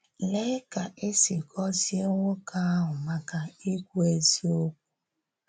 Lèe ka e sì gòzìe nwókè ahụ maka ikwú ezíokwu!